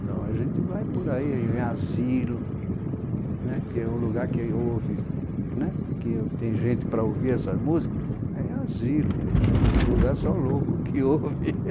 Então a gente vai por aí, em asilo né, que é o lugar que ouve né que tem gente para ouvir essas músicas, é em asilo mesmo, outro lugar só louco que ouve.